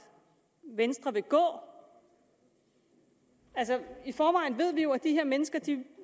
venstre vil gå altså i forvejen ved vi jo at de her mennesker